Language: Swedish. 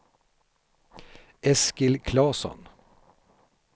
Eskil Klasson